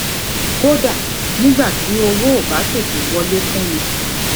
kódà nígbà tí owó ò bá tètè wọlé fún mi